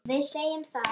Þetta er góður náungi.